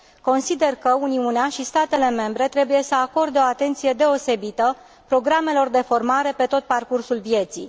Consider că Uniunea și statele membre trebuie să acorde o atenție deosebită programelor de formare pe tot parcursul vieții.